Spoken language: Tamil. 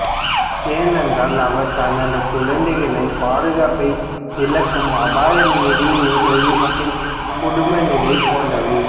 ஏனென்றால் அவர் தனது குழந்தைகளின் பாதுகாப்பை இழக்கும் அபாயம் நிதி உதவி மற்றும் குடும்ப நிலை போன்றவை